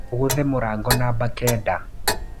ũgũthe mũrango namba kenda.